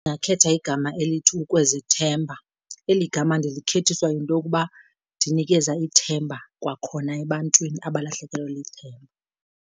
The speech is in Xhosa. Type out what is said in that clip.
Ndingakhetha igama elithi ukwezethemba. Eli gama ndilikhethiswa yinto yokuba dinikeza ithemba kwakhona ebantwini abalahlekelwe lithemba.